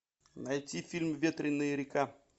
найти фильм ветреная река